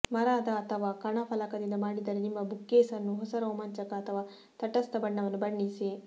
ಮರದ ಅಥವಾ ಕಣ ಫಲಕದಿಂದ ಮಾಡಿದರೆ ನಿಮ್ಮ ಬುಕ್ಕೇಸ್ ಅನ್ನು ಹೊಸ ರೋಮಾಂಚಕ ಅಥವಾ ತಟಸ್ಥ ಬಣ್ಣವನ್ನು ಬಣ್ಣಿಸಿ